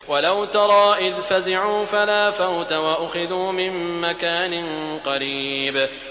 وَلَوْ تَرَىٰ إِذْ فَزِعُوا فَلَا فَوْتَ وَأُخِذُوا مِن مَّكَانٍ قَرِيبٍ